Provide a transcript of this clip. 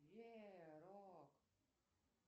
верок